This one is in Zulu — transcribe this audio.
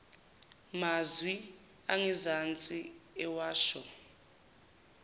mazwi angezansi ewasho